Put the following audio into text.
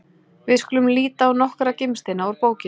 Við skulum líta á nokkra gimsteina úr bókinni: